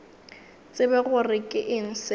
tsebe gore ke eng seo